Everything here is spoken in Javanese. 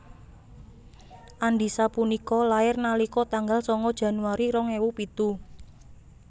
Andisa punika lair nalika tanggal sanga Januari rong ewu pitu